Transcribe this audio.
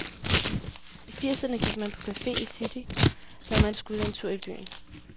I firserne gik man på cafe i city, når man skulle en tur i byen.